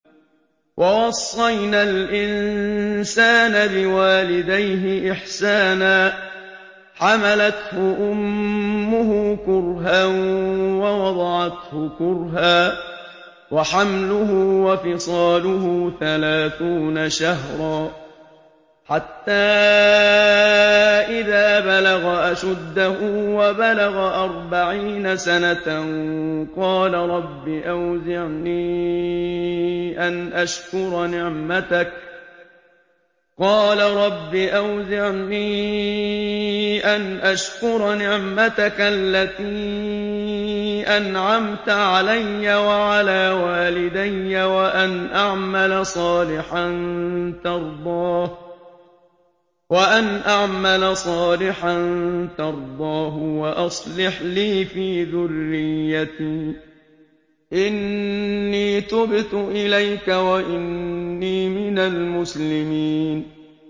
وَوَصَّيْنَا الْإِنسَانَ بِوَالِدَيْهِ إِحْسَانًا ۖ حَمَلَتْهُ أُمُّهُ كُرْهًا وَوَضَعَتْهُ كُرْهًا ۖ وَحَمْلُهُ وَفِصَالُهُ ثَلَاثُونَ شَهْرًا ۚ حَتَّىٰ إِذَا بَلَغَ أَشُدَّهُ وَبَلَغَ أَرْبَعِينَ سَنَةً قَالَ رَبِّ أَوْزِعْنِي أَنْ أَشْكُرَ نِعْمَتَكَ الَّتِي أَنْعَمْتَ عَلَيَّ وَعَلَىٰ وَالِدَيَّ وَأَنْ أَعْمَلَ صَالِحًا تَرْضَاهُ وَأَصْلِحْ لِي فِي ذُرِّيَّتِي ۖ إِنِّي تُبْتُ إِلَيْكَ وَإِنِّي مِنَ الْمُسْلِمِينَ